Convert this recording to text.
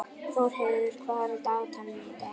Þórheiður, hvað er í dagatalinu í dag?